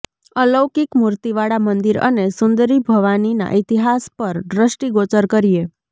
અલૌકિક મૂર્તિવાળા મંદિર અને સુંદરી ભવાનીના ઇતિહાસ પર દષ્ટિગોચર કરીએ